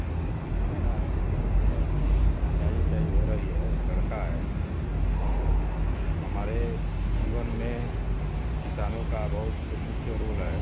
को देख के यही लग रहा है कि खेत में सिंचाई उचाई हो रही है एक लड़का है और हमारे जीवन में किसानों का बहुत मुख्य रोल है।